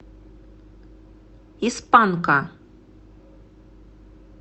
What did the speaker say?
из панка